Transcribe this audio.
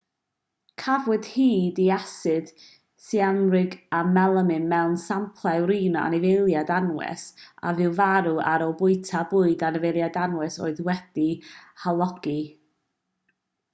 cafwyd hyd i asid syanwrig a melamin mewn samplau wrin o anifeiliaid anwes a fu farw ar ôl bwyta bwyd anifeiliaid anwes oedd wedi'i halogi